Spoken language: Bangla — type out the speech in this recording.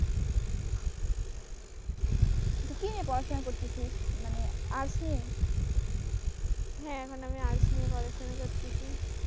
কি নিয়ে পড়াশোনা করতেছি মানে আর্টস নিয়ে, হ্যাঁ মানে আমি আর্টস নিয়ে পড়াশোনা করতেছি।